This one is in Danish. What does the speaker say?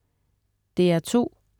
DR2: